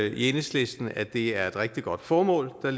i enhedslisten at det er et rigtig godt formål der